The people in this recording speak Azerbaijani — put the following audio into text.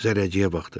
Zərrəciyə baxdı.